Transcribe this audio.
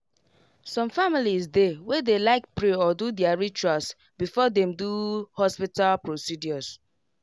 some families dey way dey like pray or do their rituals before them do hospital procedures